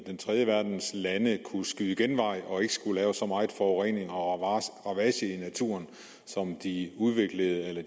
den tredje verdens lande kunne skyde genvej og ikke skulle lave så meget forurening og ravage i naturen som de udviklede eller